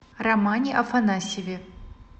романе афанасьеве